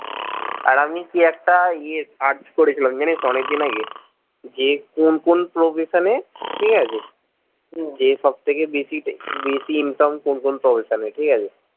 আর আমি কি একটা ইয়ে search করেছিলাম জানিস অনেক দিন আগে যে কোন কোন profession এ ঠিকাছে যে সব থেকে বেশি বেশি income কোন কোন profession এ ঠিকাছে